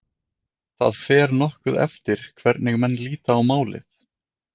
Það fer nokkuð eftir hvernig menn líta á málið.